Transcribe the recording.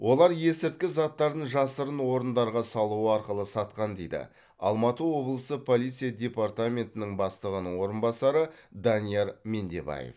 олар есірткі заттарын жасырын орындарға салу арқылы сатқан дейді алматы облысы полиция дептарментінің бастығының орынбасары данияр мендебаев